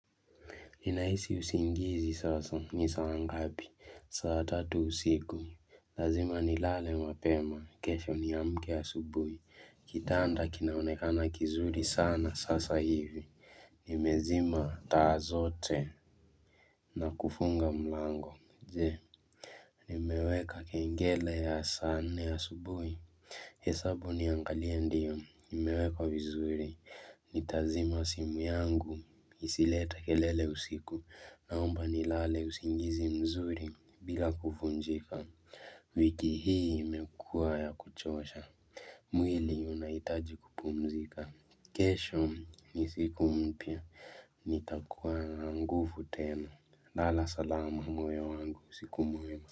Ninahisi usingizi sasa ni saa ngapi saa tatu usiku Lazima ni lale mapema kesho niamke asubuhi Kitanda kinaonekana kizuri sana sasa hivi Nimezima taa zote na kufunga mlango Jee nimeweka kengele ya saa nne asubuhi hesabu niangalie ndiyo nimeweka wizuri Nitazima simu yangu isilete kelele usiku naomba nilale usingizi mzuri bila kuvunjika wiki hii imekuwa ya kuchosha mwili unahitaji kupumzika kesho ni siku mpya nitakuwa na nguvu tena lala salama moyo wangu usiku mwema.